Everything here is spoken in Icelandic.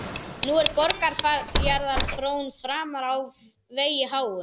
Nú er Borgarfjarðar frón framfara á vegi háum.